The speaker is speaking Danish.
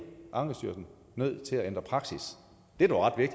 ankestyrelsen nødt til at ændre praksis det er dog ret